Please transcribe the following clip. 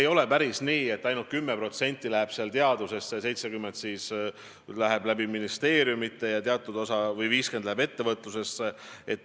Ei ole päris nii, et ainult 10% läheb teadusesse ja 70% läheb ministeeriumide kaudu või 50% läheb ettevõtlusesse.